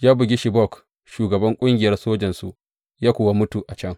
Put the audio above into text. Ya bugi Shobak, shugaban ƙungiyar sojansu ya kuwa mutu a can.